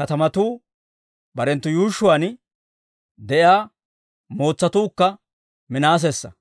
katamatuu barenttu yuushshuwaan de'iyaa mootsatuukka Minaasessa.